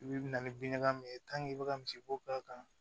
I bi na ni bin ɲaga min ye i bɛ ka misiko k'a kan